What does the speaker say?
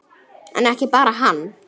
En ekki bara hann.